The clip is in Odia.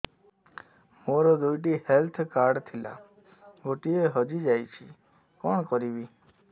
ମୋର ଦୁଇଟି ହେଲ୍ଥ କାର୍ଡ ଥିଲା ଗୋଟିଏ ହଜି ଯାଇଛି କଣ କରିବି